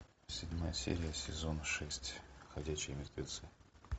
седьмая серия сезона шесть ходячие мертвецы